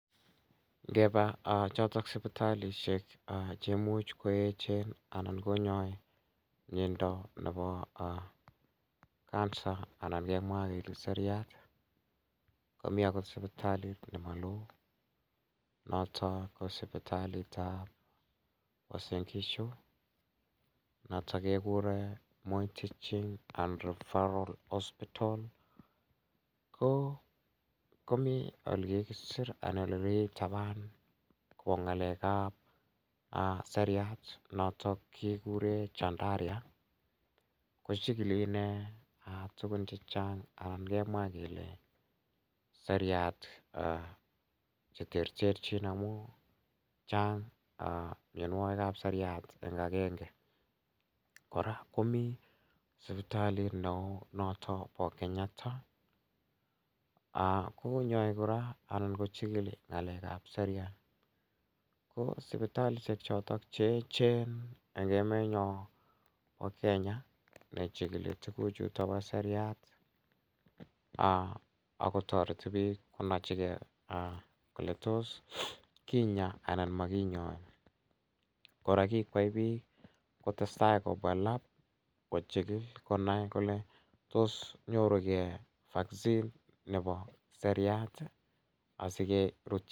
Ngeba chotok sipitalishek chemuuch koechen anan konyoei miyondo nebo cancer anan kemwa kele seriat ko mi akot sipitalit nema loo noto ko sipitalitab Usain Gishu noto kekure moi teaching and referral hospital komi ole kikiser anan ole kikitapan kobo ng'alekab seriat noto kikure chandaria ko chikili ine tukun chechang' anan kemwa kele seriat cheterterchin amu chang' miyonwokikab seriat eng' agenge kora komi sipitalit ne oo noto bo kenyatta konyoei kora anan kochikili ng'alekab seriat ko sipitalishek choto cheechen eng' emenyo nebo kenya nechikili tukuchuto bo seriat akotoreti biik konochingei kole toss kinya anan makinyoei kora kikwai biik kotestai koba lab kechikil konai kole toss nyorugei vaccine nebo seriat asikerutyi